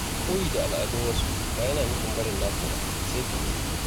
Koyi da al’adun wasu ba yana nufin barin naka ba, sai fahimta.